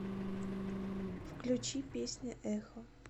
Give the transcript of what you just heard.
включи песня эхо